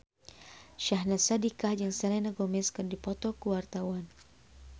Syahnaz Sadiqah jeung Selena Gomez keur dipoto ku wartawan